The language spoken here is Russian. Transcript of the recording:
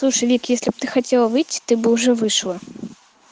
слушай вик если б ты хотела выйти ты бы уже вышла